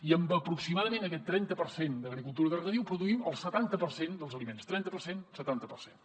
i amb aproximadament aquest trenta per cent d’agricultura de regadiu produïm el setanta per cent dels aliments trenta per cent setanta per cent